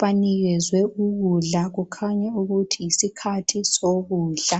banikezwe ukudla, kukhanya ukuthi yisikhathi sokudla.